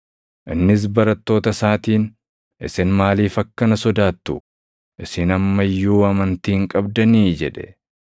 Innis barattoota isaatiin, “Isin maaliif akkana sodaattu? Isin amma iyyuu amantii hin qabdanii?” jedhe.